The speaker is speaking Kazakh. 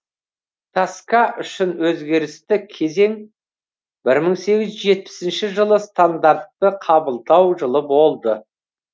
таска үшін өзгерісті кезең бір мың сегіз жүз жетпісінші жылы стандартты қабылдау жылы болды